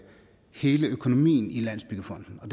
hele økonomien i landsbyggefonden og